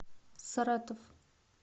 саратов